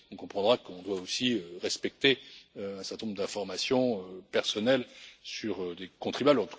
On comprendra qu'on doit aussi respecter un certain nombre d'informations personnelles sur des contribuables.